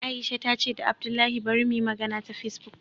Aisha ta ce da abdullahi bari muyi magana ta Facebook